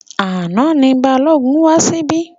Àná ni Balógun wá síbí.